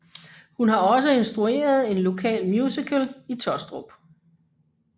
Hun har også instrueret en lokal musical i Taastrup